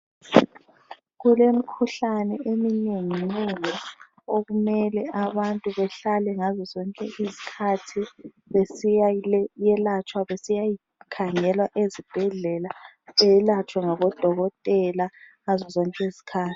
Kulemkhuhlane eminenginengi okumele abantu behlale ngazo zonke izikhathi besiya yelatshwa, besiyakhangelwa ezibhedlela belatshwe ngabodokotela ngazo zonke izikhathi.